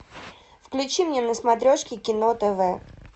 включи мне на смотрешке кино тв